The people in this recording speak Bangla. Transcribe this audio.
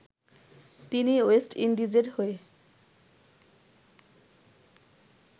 তিনি ওয়েস্ট ইন্ডিজের হয়ে